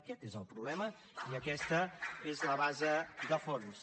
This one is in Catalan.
aquest és el problema i aquesta és la base de fons